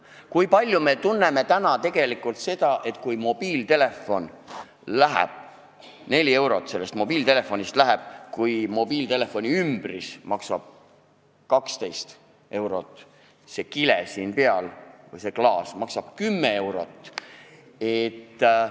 Kui palju me tunneme seda, et mobiiltelefoni pealt läheb 4 eurot, samas kui mobiiltelefoniümbris maksab 12 eurot ja kile või klaas seal peal maksab 10 eurot?